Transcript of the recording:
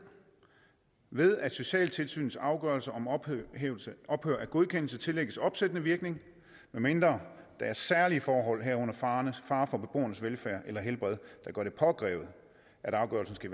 ved at socialtilsynets afgørelser om ophør af godkendelse tillægges opsættende virkning medmindre der er særlige forhold herunder fare fare for beboernes velfærd eller helbred der gør det påkrævet at afgørelsen skal